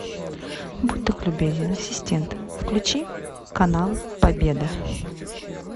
будь так любезен ассистент включи канал победа